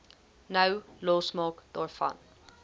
nou losmaak daarvan